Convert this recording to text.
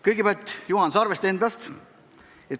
Kõigepealt Juhan Sarvest endast.